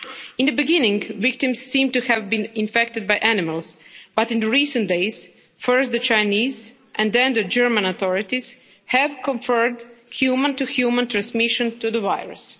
In the beginning, victims seemed to have been infected by animals, but in recent days first the Chinese and then the German authorities have confirmed human-to-human transmission of the virus.